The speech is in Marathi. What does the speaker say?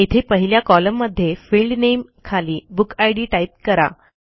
येथे पहिल्या कॉलममध्ये फील्ड नामे खाली बुकिड टाईप करा